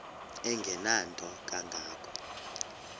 engenanto kanga ko